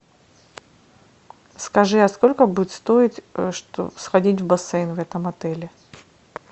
скажи а сколько будет стоить сходить в бассейн в этом отеле